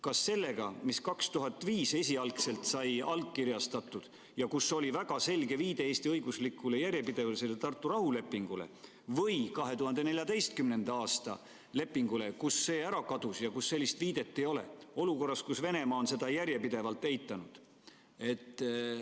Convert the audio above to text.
Kas sellega, mis 2005. aastal sai esialgselt allkirjastatud ja kus oli väga selge viide Eesti õiguslikule järjepidevusele ja Tartu rahulepingule, või 2014. aasta lepinguga, kus sellist viidet ei ole, olukorras, kus Venemaa on seda järjepidevalt eitanud?